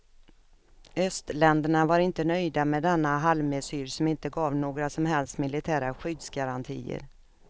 Östländerna var inte nöjda med denna halvmesyr som inte gav några som helst militära skyddsgarantier.